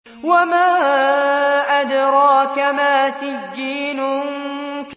وَمَا أَدْرَاكَ مَا سِجِّينٌ